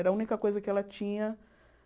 Era a única coisa que ela tinha